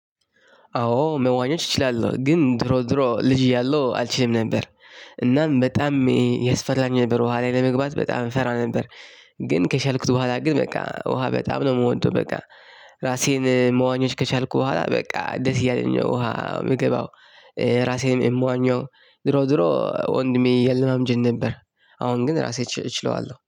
አዎ መዋኘች እችላለሁ ግን ድሮ ድሮ ልጅ እያለሁ አልችልም ነበር እናም በጣም የሚያስፈራኝ ነበር ውሃ ላይ ለመግባት በጣም እንፈራ ነበር። ግን ከቻልኩት በኋላ ግን በቃ ውሃ በጣም ነው የምወደው በቃ። ራሴ መዋኘት ከቻልኩ በኋላ በቃ ደስ እያለኝ ነው ውሃ የምገባው። ራሴ የምዋኘው ዙሮ ዙሮ ወንድሜ እያለማመደኝ ነበር። አሁን ግን እራሴ እችለዋለሁ